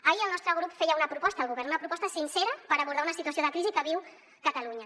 ahir el nostre grup feia una proposta al govern una proposta sincera per abordar una situació de crisi que viu catalunya